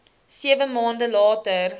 sewe maande later